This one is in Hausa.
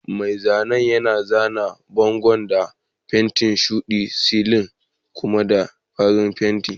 Mai zanen yana zana bangon da fenti shuɗi, silin kuma da farin fenti.